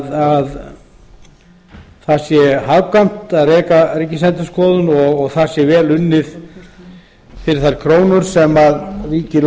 það sé hagkvæmt að reka ríkisendurskoðun og þar sé vel unnið fyrir þær krónur sem ríkið